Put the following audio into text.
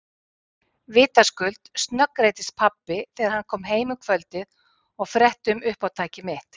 Vitaskuld snöggreiddist pabbi þegar hann kom heim um kvöldið og frétti um uppátæki mitt.